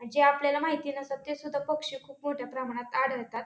आन जे आपल्याला माहिती नसतात ते सुद्धा पक्षी खूप मोठ्या प्रमाणात आढळतात.